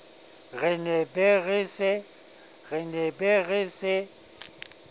re ne be re se